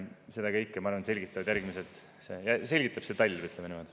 Seda kõike, ma arvan, selgitab see talv, ütleme niimoodi.